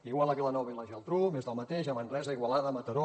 igual a vilanova i la geltrú més del mateix a manresa igualada mataró